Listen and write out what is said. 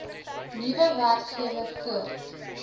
nuwe werkgewer voort